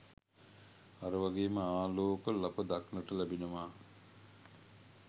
අර වගේම ආලෝක ලප දක්නට ලැබෙනවා.